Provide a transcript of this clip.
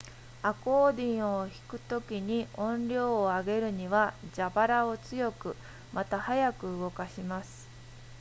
アコーディオンを弾くときに音量を上げるには蛇腹を強くまたは速く動かします